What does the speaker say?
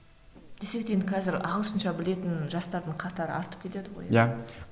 десек те енді қазір ағылшынша білетін жастардың қатары артып келеді ғой иә